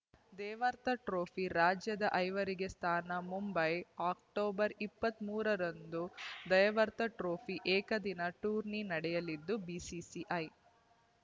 Deodhar trophy ರಾಜ್ಯದ ಐವರಿಗೆ ಸ್ಥಾನ ಮುಂಬೈ ಅಕ್ಟೋಬರ್ ಇಪ್ಪತ್ತ್ ಮೂರ ರಿಂದ ದೇವಧರ್‌ ಟ್ರೋಫಿ ಏಕದಿನ ಟೂರ್ನಿ ನಡೆಯಲಿದ್ದು ಬಿಸಿಸಿಐ